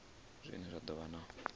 zwine zwa do vha na